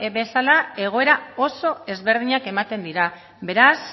bezala egoera oso ezberdinak ematen dira beraz